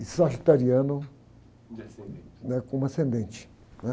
E sagitariano...e ascendente.é? Como ascendente, né?